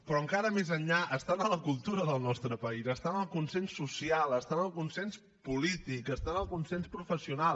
però encara més enllà està en la cultura del nostre país està en el consens social està en el consens polític està en el consens professional